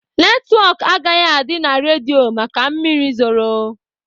Netwọk agaghị adị na redio maka mmiri zoro.